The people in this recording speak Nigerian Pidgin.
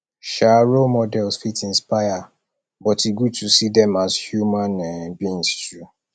um role models fit inspire but e good to see dem as human um beings too